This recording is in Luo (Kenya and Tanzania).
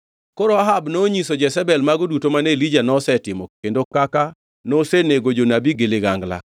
Koro Ahab nonyiso Jezebel mago duto mane Elija nosetimo kendo kaka nosenego jonabi gi ligangla,